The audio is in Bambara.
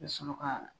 I bɛ sɔrɔ ka